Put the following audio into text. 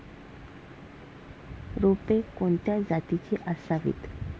रोपे कोणत्या जातीची असावीत